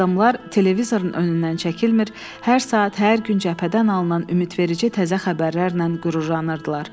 Adamlar televizorun önündən çəkilmir, hər saat, hər gün cəbhədən alınan ümidverici təzə xəbərlərlə qürurlanırdılar.